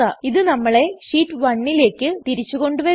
ഇത് നമ്മളെ ഷീറ്റ് 1ലേക്ക് തിരിച്ച് കൊണ്ടുവരുന്നു